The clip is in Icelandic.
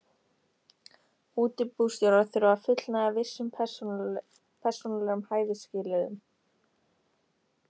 Útibússtjórar þurfa að fullnægja vissum persónulegum hæfisskilyrðum.